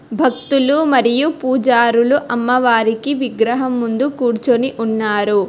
భక్తులు మరియు పూజారులు అమ్మవారికి విగ్రహం ముందు కూర్చొని ఉన్నారు.